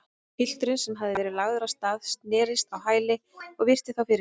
Pilturinn, sem hafði verið lagður af stað, snerist á hæli og virti þá fyrir sér.